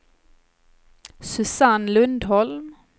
Susanne Lundholm